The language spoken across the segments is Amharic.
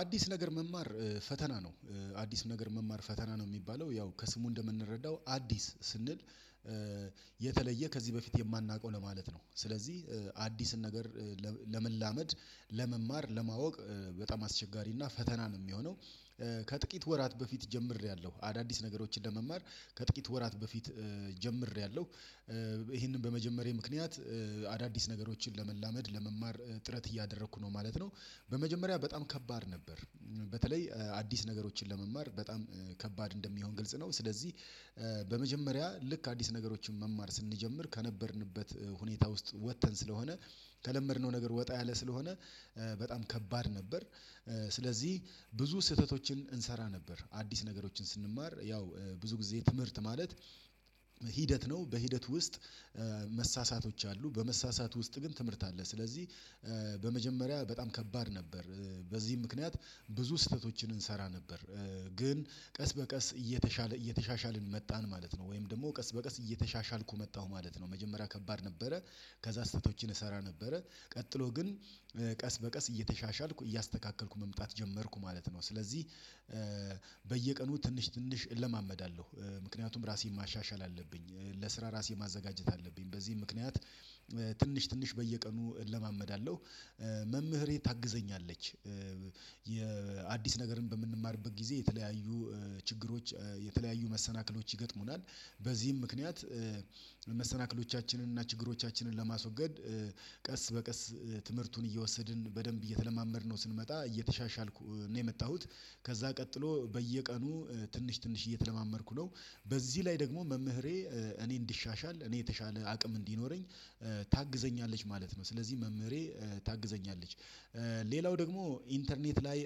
አዲስ ነገር መማር ፈተና ነው። አዲስ ነገር መማር ፈተና ነው የሚባለው ያው ከስሙ እንደምንረዳው አዲስ ስንል የተለየ ከዚህ በፊት የማናውቀው ለማለት ነው። ስለዚህ አዲስን ነገር ለመላመድ ለመማር ለማወቅ በጣም አስቸጋሪና ፈተናን የሚሆነው ከጥቂት ወራት በፊት ጀምሬያለሁ አዳዲስ ነገሮችን ለመማር ከጥቂት ወራት በፊት ጀምሬያለሁ ይሄንን በመጀመሬ ምክንያት አዳዲስ ነገሮችን ለመላመድ ለመማር ጥረት እያደረኩ ነው ማለት ነው። በመጀመሪያ በጣም ከባድ ነበር። በተለይ አዲስ ነገሮችን ለመማር በጣም ከባድ እንደሚሆን ግልጽ ነው። ስለዚህ በመጀመሪያ ልክ አዲስ ነገሮችን መማር ስንጀምር ከነበርንበት ሁኔታ ውስጥ ወጥተን ስለሆነ ከለመድነው ነገር ወጣ ያለ ስለሆነ በጣም ከባድ ነበር። ስለዚህ ብዙ ስህተቶችን እንሰራ ነበር አዲስ ነገሮችን ስንማር ያው ብዙ ጊዜ ትምህርት ማለት ሂደት ነው በሂደት ውስጥ መሳሳቶች አሉ በመሳሳት ውስጥ ግን ትምህርት አለ። ስለዚህ በመጀመሪያ በጣም ከባድ ነበር። በዚህ ምክንያት ብዙ ስህተቶችን እንሰራ ነበር ግን ቀስ በቀስ እየተሻለ እየተሻሻልን መጣን ማለት ነው። ወይም ደግሞ ቀስ በቀስ እየተሻሻልኩ መጣሁ ማለት ነው። መጀመሪያ ከባድ ነበረ ከዛ ስህተቶችን እሰራ ነበረ ቀጥሎ ግን ቀስ በቀስ እየተሻሻልኩ እያስተካከልኩ መምጣት ጀመርኩ ማለት ነው። ስለዚህ በየቀኑ ትንሽ ትንሽ እለማመዳለሁ ምክንያቱም ራሴን ማሻሻል አለብኝ ለስራ ራሴን ማዘጋጀት አለብኝ በዚህም ምክንያት ትንሽ ትንሽ በየቀኑ እለማመዳለሁ መምህሬ ታግዘኛለች። የአዲስ ነገርን በምንማርበት ጊዜ የተለያዩ ችግሮች የተለያዩ መሰናክሎች ይገጥሙናል በዚህም ምክንያት መሰናክሎቻችንን እና ችግሮቻችንን ለማስወገድ ቀስ በቀስ ትምህርቱን እየወሰድን በደንብ እየተለማመድነው ስንመጣ እየተሻሻልኩ ነው የመጣሁት። ከዛ ቀጥሎ በየቀኑ ትንሽ ትንሽ እየተለማመድኩ ነው በዚህ ላይ ደግሞ መምህሬ እኔ እንዲሻሻል እኔ የተሻለ አቅም እንዲኖረኝ ታግዘኛለች ማለት ነው ስለዚህ መምህሬ ታግዘኛለች። ሌላው ደግሞ ኢንተርኔት ላይ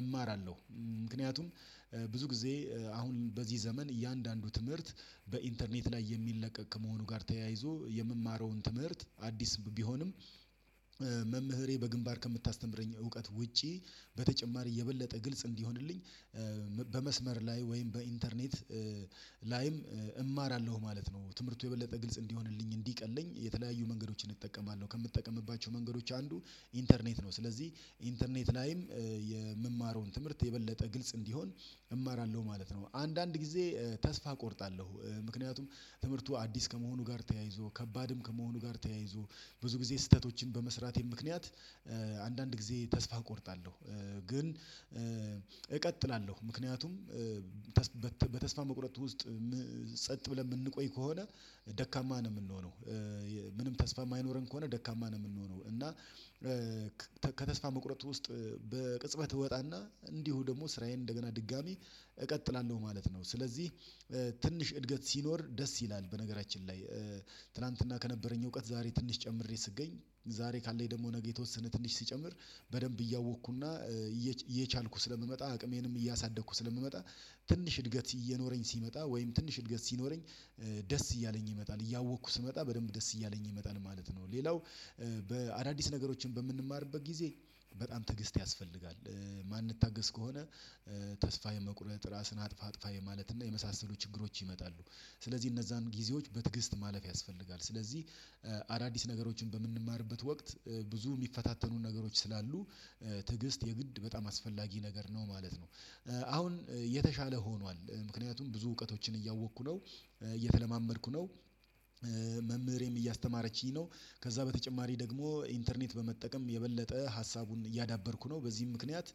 እማራለሁ ምክንያቱም ብዙ ጊዜ አሁን በዚህ ዘመን እያንዳንዱ ትምህርት በኢንተርኔት ላይ የሚለቀቅ ከመሆኑ ጋር ተያይዞ የምማረውን ትምህርት አዲስ ቢሆንም መምህሬ በግንባር ከምታስተምረኝ እውቀት ውጪ በተጨማሪ የበለጠ ግልጽ እንዲሆንልኝ በመስመር ላይ ወይም በኢንተርኔት ላይም እማራለሁ ማለት ነው። ትምህርቱ የበለጠ ግልጽ እንዲሆንልኝ እንዲቀለኝ የተለያዩ መንገዶችን እጠቀማለሁ ከምትጠቀምባቸው መንገዶች አንዱ ኢንተርኔት ነው። ስለዚህ ኢንተርኔት ላይም የምማረውን ትምህርት የበለጠ ግልጽ እንዲሆን እማራለሁ ማለት ነው። አንዳንድ ጊዜ ተስፋ እቆርጣለሁ ምክንያቱም ትምህርቱ አዲስ ከመሆኑ ጋር ተያይዞ ከባድም ከመሆኑ ጋር ተያይዞ ብዙ ጊዜ ስህተቶችን በመስራቴ ምክንያት አንዳንድ ጊዜ ተስፋ እቆርጣለሁ። ግን እቀጥላለሁ ምክንያቱም በተስፋ መቁረጥ ውስጥ ጸጥ ብለን የምንቆይ ከሆነ ደካማ ነው የምንሆነው ምንም ተስፋ የማይኖረን ከሆነ ደካማ ነው የምንሆነው እና ከተስፋ መቁረጥ ውስጥ በቅጽበት እወጣና እንዲሁ ደግሞ ስራዬን እንደገና ድጋሚ እቀጥላለሁ ማለት ነው። ስለዚህ ትንሽ እድገት ሲኖር ደስ ይላል በነገራችን ላይ ትላንትና ከነበረኝ እውቀት ዛሬ ትንሽ ጨምሬ ስገኝ ዛሬ ካለኝ ደግሞ ነገ የተወሰነ ትንሽ ሲጨምር በደንብ እያወቅኩና እየቻልኩ ስለምመጣ አቅሜንም እያሳደግኩ ስለምመጣ ትንሽ እድገት እየኖረኝ ሲመጣ ወይም ትንሽ እድገት ሲኖረኝ ደስ እያለኝ ይመጣል እያወቅኩ ስመጣ በደንብ ደስ እያለኝ ይመጣል ማለት ነው። ሌላው በአዳዲስ ነገሮችን በምንማርበት ጊዜ በጣም ትግስት ያስፈልጋል የማንታገስ ከሆነ ተስፋ የመቁረጥ ራስን አጥፋ አጥፋ የማለት እና የመሳሰሉ ችግሮች ይመጣሉ። ስለዚህ እነዛን ጊዜዎች በትዕግስት ማለፍ ያስፈልጋል ስለዚህ አዳዲስ ነገሮችን በምንማርበት ወቅት ብዙ የሚፈታተኑን ነገሮች ስላሉ ትዕግስት የግድ በጣም አስፈላጊ ነገር ነው ማለት ነው። አሁን የተሻለ ሆኗል ምክንያቱም ብዙ እውቀቶችን እያወቅኩ ነው እየተለማመድኩ ነው እያስተማረችኝ ነው ከዛ በተጨማሪ ደግሞ ኢንተርኔት በመጠቀም የበለጠ ሀሳቡን እያዳበርኩ ነው በዚህም ምክንያት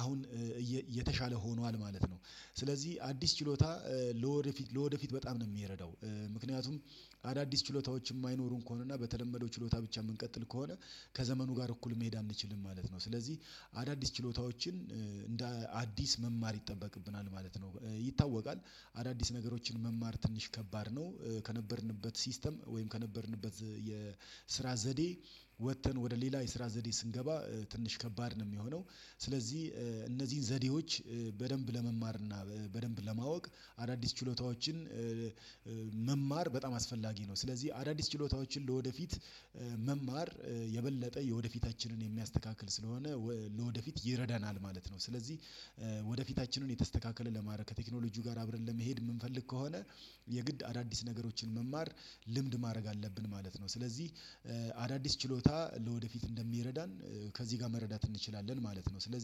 አሁን የተሻለ ሆኗል ማለት ነው። ስለዚህ አዲስ ችሎታ ለወደፊት ለወደፊት በጣም ነው የሚረዳው ምክንያቱም አዳዲስ ችሎታዎች የማይኖሩን ከሆነና በተለመደው ችሎታ ብቻ የምንቀጥል ከሆነ ከዘመኑ ጋር እኩል መሄድ አንችልም ማለት ነው። ስለዚህ አዳዲስ ችሎታዎችን እንደ አዲስ መማር ይጠበቅብናል ማለት ነው ይታወቃል አዳዲስ ነገሮችን መማር ትንሽ ከባድ ነው። ከነበርንበት ሲስተም ወይም ከነበርንበት የስራ ዘዴ ወጥተን ወደ ሌላ የስራ ዘዴ ስንገባ ትንሽ ከባድ ነው የሚሆነው። ስለዚህ እነዚህን ዘዴዎች በደንብ ለመማር እና በደንብ ለማወቅ አዳዲስ ችሎታዎችን መማር በጣም አስፈላጊ ነው ስለዚህ አዳዲስ ችሎታዎችን ለወደፊት መማር የበለጠ የወደፊታችንን የሚያስተካክል ስለሆነ ለወደፊት ይረዳናል ማለት ነው። ስለዚህ ወደፊታችንን የተስተካከለ ለማድረግ ከቴክኖሎጂው ጋር አብረን ለመሄድ የምንፈልግ ከሆነ የግድ አዳዲስ ነገሮችን መማር ልምድ ማድረግ አለብን ማለት ነው። ስለዚህ አዳዲስ ችሎታ ለወደፊት እንደሚረዳን ከዚህ ጋር መረዳት እንችላለን ማለት ነው። ስለዚህ